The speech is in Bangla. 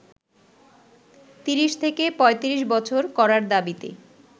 ৩০ থেকে ৩৫ বছর করার দাবিতে